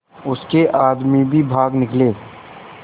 उसके आदमी भी भाग निकले